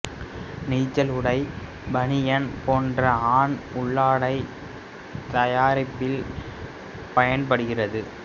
நீச்சல் உடை பணியன் போன்ற ஆண் உள்ளாடைத் தயாரிப்பில் பயன்படுகிறது